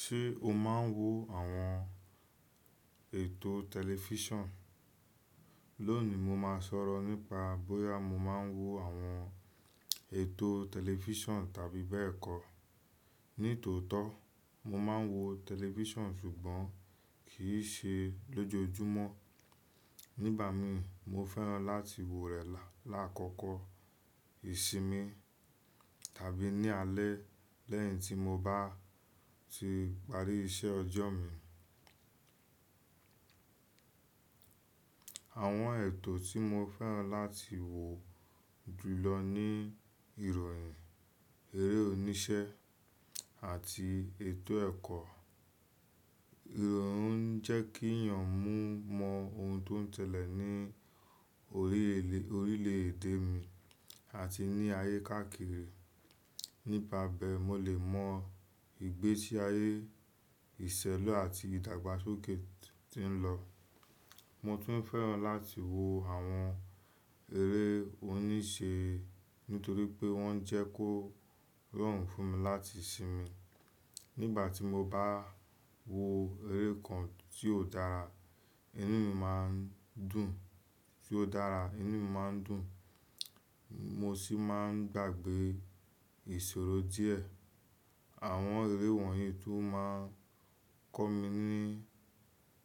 Ṣé o máa ń wo àwọn ètò tẹlifíṣàn? Lónìí, mo máa sọ̀rọ̀ nípa bóyá mo máa ń wo àwọn ètò tẹlifíṣàn tàbí bẹ́ẹ̀ kọ́. Nítòótọ́, mo máa ń wo tẹlifíṣàn ṣùgbọ́n kì í ṣe lójoojúmọ́. Ní ìbàmi, mo fẹ́ràn láti wòó rẹ̀ lákọkọ ìsinmi tàbí ní alẹ́ lẹ́yìn tí mo bá ti parí iṣẹ́ ọjọ́ mi. Àwọn ètò tí mo fẹ́ràn láti wòò jù lọ ni ìròyìn, eré oníṣẹ́ àti ètò ẹ̀kọ́. Ìròyìn ń jẹ́ kí èèyàn mọ ohun tó ń sẹ́lẹ̀ ní orílẹ̀dè mi àti ní ayé káàkiri. Nípa bẹ́ẹ̀ mó lè mọ ìgbésí ayé ìṣẹ̀lù àti ìdàgbàsókè tí ń lọ. Mo tún fẹ́ràn láti wo àwọn eré oníṣẹ́ nítorí pé wọ́n jẹ́ kó rọrùn fún mi láti sinmi. Nígbà tí mo bá wo eré kan tí ó dára, inú mi máa ń dùn, mo sì máa ń gbàgbé ìṣòro díẹ̀. Àwọn eré wọ̀nyí tún máa ń kọ́ mi